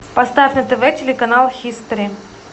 поставь на тв телеканал хистори